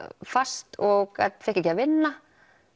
fast og fékk ekki að vinna